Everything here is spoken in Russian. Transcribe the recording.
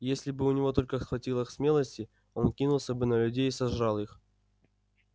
и если бы у него только хватило смелости он кинулся бы на людей и сожрал их